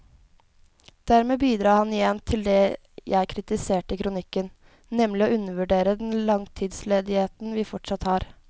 Dermed bidrar han igjen til det jeg kritiserte i kronikken, nemlig å undervurdere den langtidsledigheten vi fortsatt har.